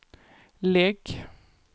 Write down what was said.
lägg